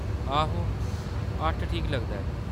आहो, अट्ठ ठीक लगदा ऐ।